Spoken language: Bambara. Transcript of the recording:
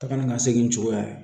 Taga ni ka segin cogoya ye